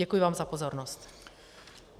Děkuji vám za pozornost.